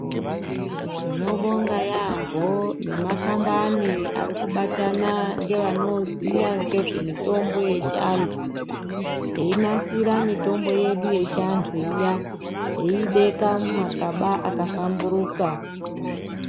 Tinobonga yampho nemakambani ari kubatana ngevanoziya mutombo yechiantu einasira mitombo yedu yechiantu eibeka mumagaba akahlamburuka.